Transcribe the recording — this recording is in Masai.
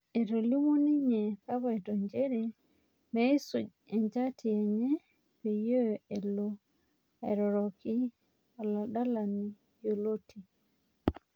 Etolimuo ninye kapaito njere meisuj enjati enye peyie elo airoroki oladalani yioloti